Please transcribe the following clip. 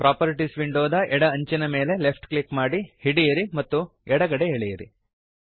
properties ವಿಂಡೋದ ಎಡ ಅಂಚಿನ ಮೇಲೆ ಲೆಫ್ಟ್ ಕ್ಲಿಕ್ ಮಾಡಿ ಹಿಡಿಯಿರಿ ಮತ್ತು ಎಡಗಡೆಗೆ ಎಳೆಯಿರಿ